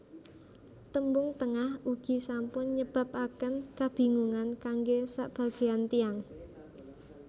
Tembung Tengah ugi sampun nyebabaken kabingungan kanggé sabagéyan tiyang